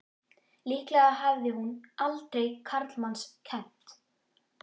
Líklega hafði hún aldrei karlmanns kennt!